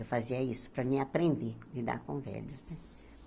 Eu fazia isso para eu aprender, lidar com velhos.